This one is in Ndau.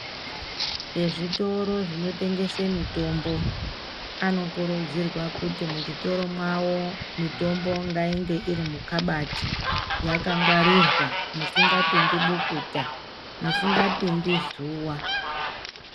Vezvitoro zvinotengesa mitombo, anokurudzirwa kuti muzvitora mavo mitombo ngainge iri mukabati yakangwarirwa musingapindi bukuta, musingapindi zuwa.